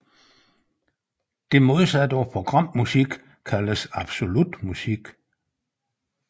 Det modsatte af programmusik kaldes absolut musik